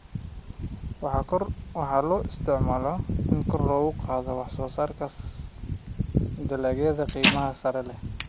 Waxa loo isticmaalaa in kor loogu qaado wax soo saarka dalagga qiimaha sare leh.